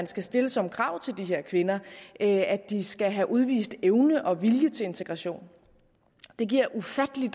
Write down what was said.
skal stilles som krav til de her kvinder at de skal have udvist evne og vilje til integration det giver ufattelig